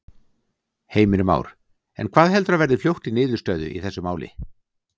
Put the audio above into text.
Heimir Már: En hvað heldurðu að verði fljótt í niðurstöðu í þessu máli?